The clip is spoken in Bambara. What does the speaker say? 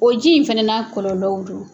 O ji in fɛnɛ n'a kɔlɔlɔw do.